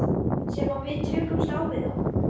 Sem að við tökumst á við þá?